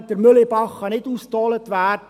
Der Mühlebach kann nicht ausgedolt werden.